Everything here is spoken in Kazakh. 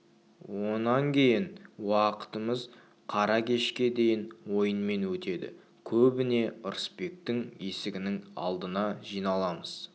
онан кейінгі уақытымыз қара кешке дейін ойынмен өтеді көбіне ырысбектің есігінің алдына жиналамыз